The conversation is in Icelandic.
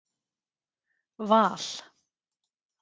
Val